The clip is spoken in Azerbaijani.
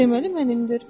Deməli mənimdir.